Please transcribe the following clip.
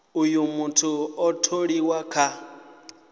uh muthu a tholiwe kha